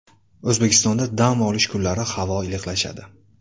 O‘zbekistonda dam olish kunlari havo iliqlashadi.